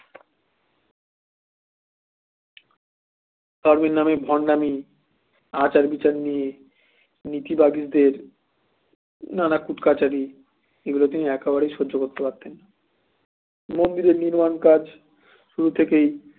ধর্মের নামে ভন্ডামি আচার-বিচার নিয়ে নিতি বিবাদের নানা কুট কাছারি এগুলো তিনি একেবারেই সহ্য করতে পারতেন না মন্দির নির্মাণ কাজ শুরু থেকেই